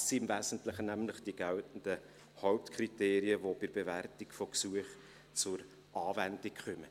Dies sind im Wesentlichen nämlich die geltenden Hauptkriterien, die bei der Bewertung von Gesuchen zur Anwendung kommen.